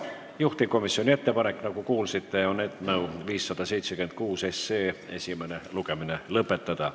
Juhtivkomisjoni ettepanek, nagu kuulsite, on eelnõu 576 esimene lugemine lõpetada.